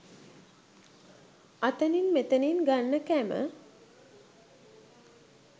අතනින් මෙතනින් ගන්න කැම